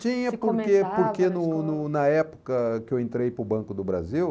Tinha, porque porque no no na época que eu entrei para o Banco do Brasil...